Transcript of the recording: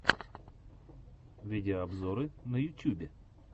видеообзоры на ютюбе